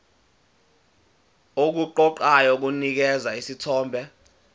okuqoqayo kunikeza isithombe